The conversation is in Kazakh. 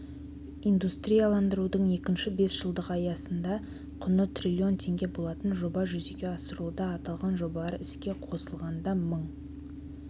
индустрияландырудың екінші бесжылдығы аясында құны трлн теңге болатын жоба жүзеге асырылуда аталған жобалар іске қосылғанда мың